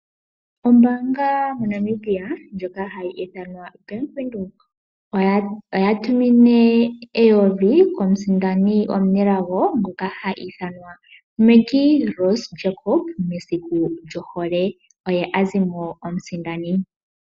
Ombaanga moNamibia ndjoka hayi ithanwa Bank Widhoek, oya tumine eyovi ko musindani omunelago ngoka ha ithanwa Maggie Rose Jacob mesiku lyohole. Oye azimo omusindani.